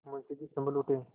मुंशी जी सँभल उठे